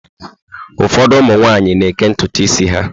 Ụfọdụ ụmụ nwaanyị na-eké ntutu isi ha.